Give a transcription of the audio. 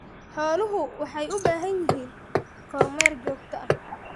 Xooluhu waxay u baahan yihiin kormeer joogto ah.